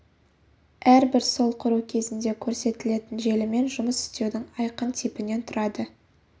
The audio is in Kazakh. әрбір сол құру кезінде көрсетілетін желімен жұмыс істеудің айқын типінен тұрады